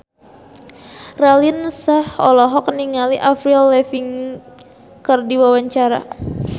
Raline Shah olohok ningali Avril Lavigne keur diwawancara